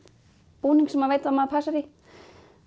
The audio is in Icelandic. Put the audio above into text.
búning sem maður passar í